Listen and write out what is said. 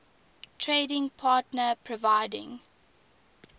trading partner providing